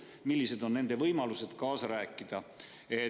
Millised on nende võimalused kaasa rääkida?